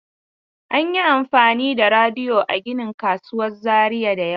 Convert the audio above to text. An yi amfani da rodi a ginin kasuwar Zariya da yawa.